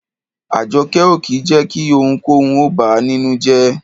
Àjọkẹ́ ò kì í jẹ́ kí ohunkóhun ó bà á nínú jẹ́.